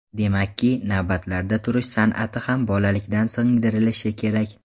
Demakki, navbatlarda turish san’ati ham bolalikdan singdirilishi kerak.